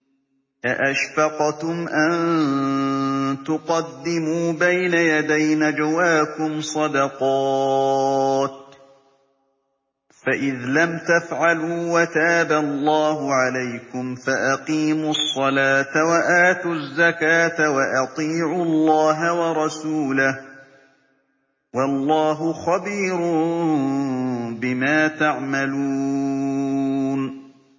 أَأَشْفَقْتُمْ أَن تُقَدِّمُوا بَيْنَ يَدَيْ نَجْوَاكُمْ صَدَقَاتٍ ۚ فَإِذْ لَمْ تَفْعَلُوا وَتَابَ اللَّهُ عَلَيْكُمْ فَأَقِيمُوا الصَّلَاةَ وَآتُوا الزَّكَاةَ وَأَطِيعُوا اللَّهَ وَرَسُولَهُ ۚ وَاللَّهُ خَبِيرٌ بِمَا تَعْمَلُونَ